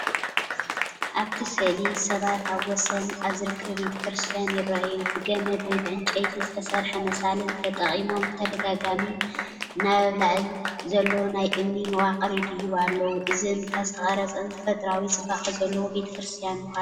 ኣብቲ ስእሊ ሰባት ኣብ ወሰን ኣብ ዝርከብ ቤተክርስትያን ይረኣዩ። ብገመድ ወይ ብዕንጨይቲ ዝተሰርሐ መሳልል ተጠቒሞም ብተደጋጋሚ ናብ ኣብ ልዕሊ ዘሎ ናይ እምኒ መዋቕር ይድይቡ ኣለዉ። እዚ እምባ ዝተቐርጸን ተፈጥሮኣዊ ጽባቐ ዘለዎ ቤተ ክርስቲያን ምዃኑ ይሕብር።